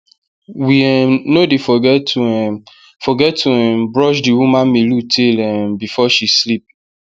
we um no dey forget to um forget to um brush the woman melu tail um before she sleep